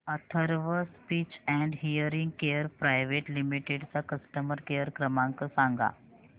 Atharva speech and hearing care private limited चा customer care क्रमांक सांगा